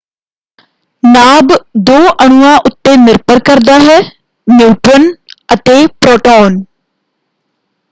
ਨਾਭ ਦੋ ਅਣੂਆਂ ਉੱਤੇ ਨਿਰਭਰ ਕਰਦਾ ਹੈ - ਨਿਊਟਰਨ ਅਤੇ ਪ੍ਰੋਟੋਨ।